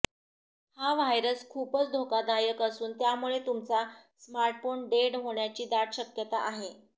हा व्हायरस खूपच धोकादायक असून त्यामुळे तुमचा स्मार्टफोन डेड होण्याची दाट शक्यता आहे